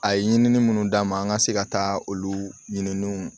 A ye ɲinini munnu d'an ma an ka se ka taa olu ɲininiw